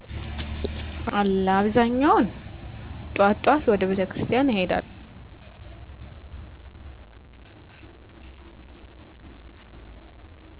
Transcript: አዎ አለ አብዛኛው ጥዋት ጥዋት ወደ ቤተክርስቲያን እሄዳለሁ ፀሎት አደርጋለሁ።